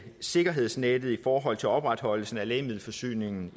sikkerhedsnettet i forhold til opretholdelsen af lægemiddelforsyningen